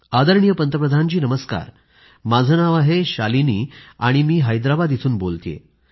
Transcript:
आदरणीय पंतप्रधान जी नमस्कार माझं नाव शालिनी आहे आणि मी हैदराबाद इथून बोलतेय